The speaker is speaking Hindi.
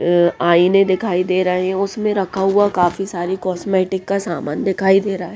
अ आईने दिखाई दे रहे हैं उसमें रखा हुआ काफी सारी कॉस्मेटिक का सामान दिखाई दे रहा हैं।